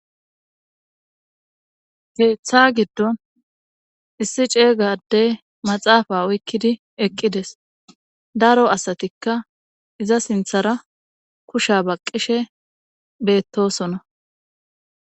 Keeththa giddon issi ceeygadey maxaafa oykkidi eqqides daro asatikka iza sinthara kusha baqqishe beettosona